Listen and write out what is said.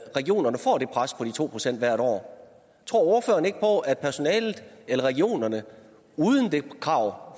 regionerne får det pres på de to procent hvert år tror ordføreren ikke på at personalet eller regionerne uden det krav